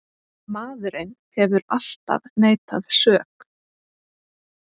Maðurinn hefur alltaf neitað sök.